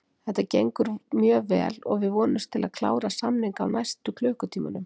Þetta gengur mjög vel og við vonumst til þess að klára samninga á næstu klukkutímunum.